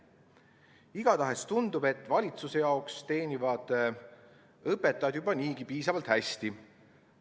Igatahes tundub, et valitsuse arvates teenivad õpetajad juba niigi piisavalt hästi.